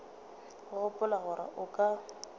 o gopola gore o ka